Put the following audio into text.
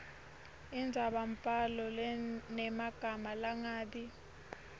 indzabambhalo lenemagama langabi